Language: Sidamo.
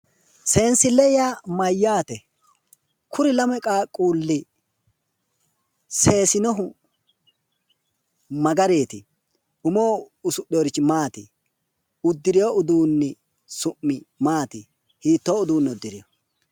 Seensille yaa mayyaate? kuri lame qaaqquulli seesinohu magariiti? umoho usudhewoorrichi maati? uddirewo uduunni su'mi maati? hiittoo uduunne uddirewo?